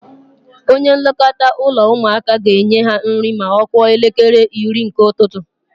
Onye nlekọta ụlọ ụmụaka ga-enye ha nri ma ọ kụọ elekere iri nke ụtụtụ.